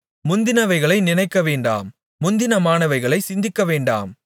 முந்தினவைகளை நினைக்கவேண்டாம் முந்தினமானவைகளைச் சிந்திக்கவேண்டாம்